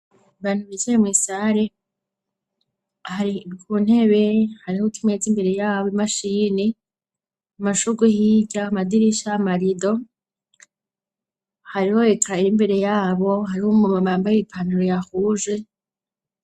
Bantu bizaye mu isare hari rwuntebe hariho timetsi imbere yabo imashini amashugu hirya amadirisha 'a marido hariho ikaira imbere yabo hariho mu mabamba y' ipaniro yahuje.